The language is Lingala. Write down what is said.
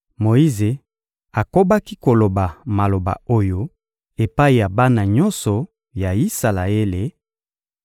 Moyize akobaki koloba maloba oyo epai ya bana nyonso ya Isalaele: